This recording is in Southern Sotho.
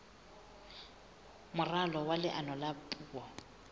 moralo wa leano la puo